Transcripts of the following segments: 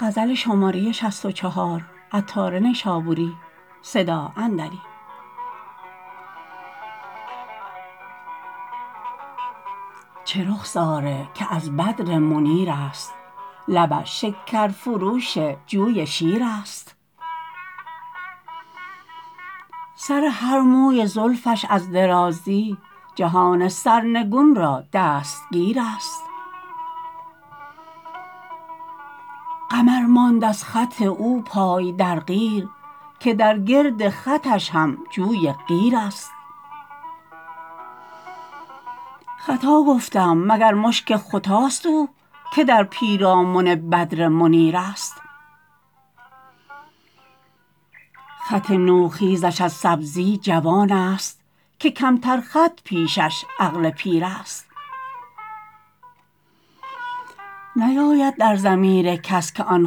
چه رخساره که از بدر منیر است لبش شکر فروش جوی شیر است سر هر موی زلفش از درازی جهان سرنگون را دستگیر است قمر ماند از خط او پای در قیر که در گرد خطش هم جوی قیر است خطا گفتم مگر مشک ختاست او که در پیرامن بدر منیر است خط نو خیزش از سبزی جوان است که کمتر خط پیشش عقل پیر است نیاید در ضمیر کس که آن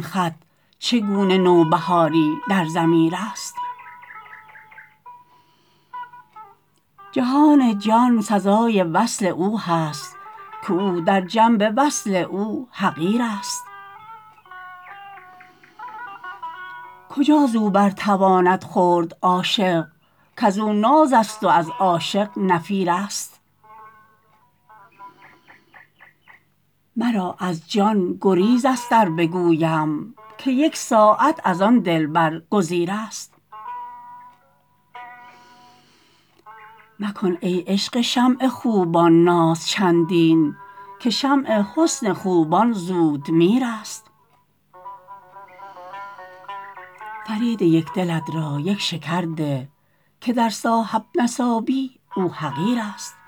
خط چگونه نوبهاری در ضمیر است جهان جان سزای وصل او هست که او در جنب وصل او حقیر است کجا زو بر تواند خورد عاشق کزو ناز است و از عاشق نفیر است مرا از جان گریز است ار بگویم که یک ساعت از آن دلبر گزیر است مکن ای شمع خوبان ناز چندین که شمع حسن خوبان زود میر است فرید یک دلت را یک شکر ده که در صاحب نصابی او حقیر است